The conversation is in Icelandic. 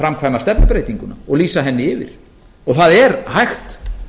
framkvæma stefnubreytinguna og lýsa henni yfir það er hægt